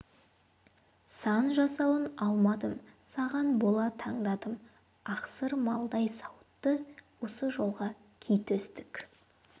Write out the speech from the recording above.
сан жасауын алмадым саған бола таңдадым ақсырмалдай сауытты осы жолға ки төстік